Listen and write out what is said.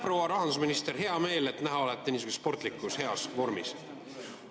Proua rahandusminister, hea meel on näha, et olete niisuguses sportlikus heas vormis!